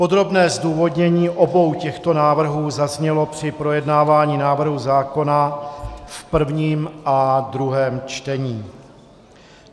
Podrobné zdůvodnění obou těchto návrhů zaznělo při projednávání návrhu zákona v prvním a druhém čtení.